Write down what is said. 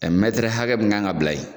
Ɛ mɛtɛrɛ hakɛ min kan ka bila yen